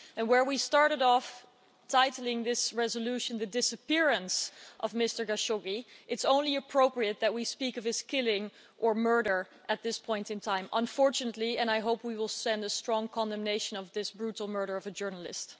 While we started off by entitling this resolution the disappearance of Mr Khashoggi', it is only appropriate that we speak of his killing or murder at this point in time, unfortunately, and I hope we will send a strong condemnation of this brutal murder of a journalist.